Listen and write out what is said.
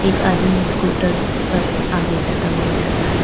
एक आदमी स्कूटर पर आगे जाता हुआ नजर आ रहा है।